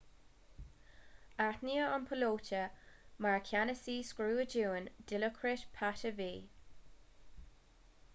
aithníodh an píolóta mar cheannasaí scuadrúin dilokrit pattavee